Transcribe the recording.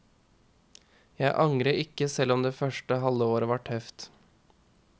Jeg angrer ikke selv om det første halve året var tøft.